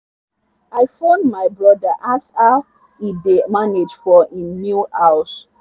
i phone my brother ask how e dey manage for him new house.